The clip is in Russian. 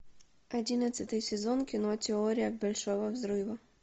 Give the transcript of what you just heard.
одиннадцатый сезон кино теория большого взрыва